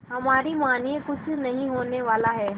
हमारी मानिए कुछ नहीं होने वाला है